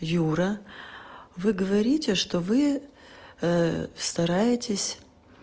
юра вы говорите что вы стараетесь